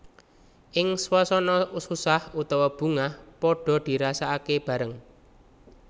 Ing swasana susah utawa bungah padhaa dirasakake bareng